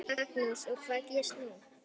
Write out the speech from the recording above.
Magnús: Og hvað gerist núna?